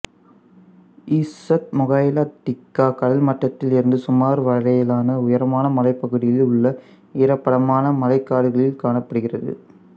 இசுத்மோகைலா டிக்கா கடல்மட்டத்திலிருந்து சுமார் வரையிலான உயரமான மலைப்பகுதியில் உள்ள ஈரப்பதமான மழைக்காடுகளில் காணப்படுகிறது